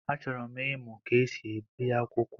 Achọrọ m ịmụ ka esi ebi akwụkwọ.